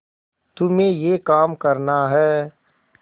तुम्हें यह काम करना है